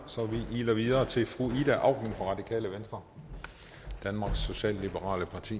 så vi iler videre til fru ida auken fra radikale venstre danmarks socialliberale parti